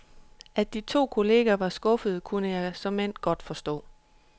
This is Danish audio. At de to kolleger var skuffede kunne jeg såmænd godt forstå.